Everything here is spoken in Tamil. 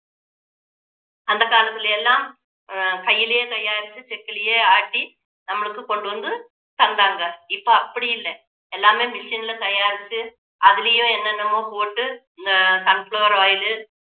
அந்த காலத்துல எல்லாம் ஆஹ் கையிலேயே தயாரிச்சு செக்குலேயே ஆட்டி நம்மளுக்கு கொண்டு வந்து தந்தாங்க இப்போ அப்படி இல்ல எல்லாமே machine ல தயாரிச்சு அதுலேயும் என்னென்னவோ போட்டு இந்த sunflower oil உ